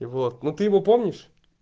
и вот ну ты его помнишь